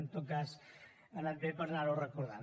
en tot cas ha anat bé per anar ho recordant